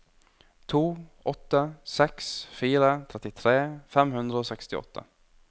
to åtte seks fire trettitre fem hundre og sekstiåtte